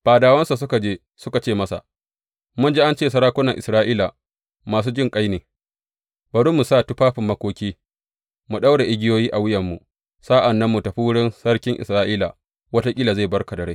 Fadawansa suka je suka ce masa, Mun ji an ce sarakunan Isra’ila masu jinƙai ne, bari mu sa tufafin makoki, mu ɗaura igiyoyi a wuyanmu, sa’an nan mu tafi wurin sarkin Isra’ila, wataƙila zai bar ka da rai.